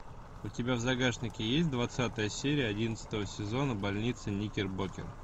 у тебя в загашнике есть двадцатая серия одиннадцатого сезона больница никербокер